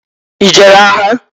I jere agha?